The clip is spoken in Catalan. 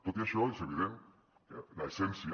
tot i això és evident que l’essència